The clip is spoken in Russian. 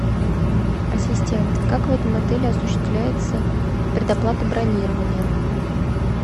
ассистент как в этом отели осуществляется предоплата бронирования